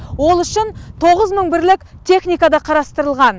ол үшін тоғыз мың бірлік техника да қарастырылған